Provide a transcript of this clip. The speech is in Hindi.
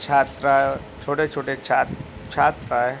छात्रा हैं छोटे छोटे छात छात्र हैं |